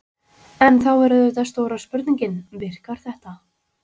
En þá er auðvitað stóra spurningin: Virkar þetta?